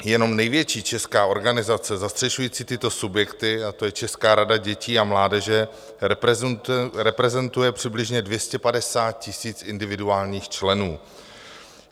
Jenom největší česká organizace zastřešující tyto subjekty, a to je Česká rada dětí a mládeže, reprezentuje přibližně 250 000 individuálních členů.